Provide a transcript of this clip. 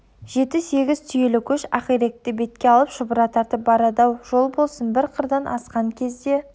жеті-сегіз түйелі көш ақиректі бетке алып шұбыра тартып барады ау жол болсын бір қырдан асқан кезде